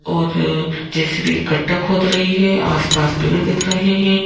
और J _C B गट्टा खोद रही है आसपास पेड़ दिख रहे हैं।